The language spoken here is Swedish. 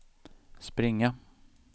springa